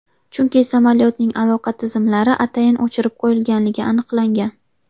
Chunki samolyotning aloqa tizimlari atayin o‘chirib qo‘yilganligi aniqlangan.